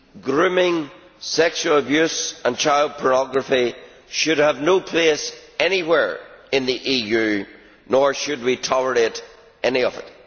Grooming, sexual abuse and child pornography should have no place anywhere in the EU, nor should we tolerate any of it.